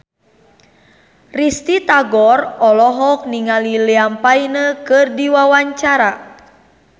Risty Tagor olohok ningali Liam Payne keur diwawancara